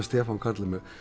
Stefán Karl með